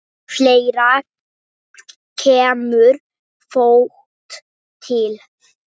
Fleira kemur þó til.